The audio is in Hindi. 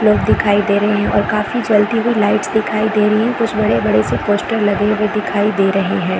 लोग दिखाई दे रहे है और काफी जलती हुई लाइट्स दिखाई दे रही है कुछ बड़े-बड़े से पोस्टर लगे हुए दिखाई दे रहे है।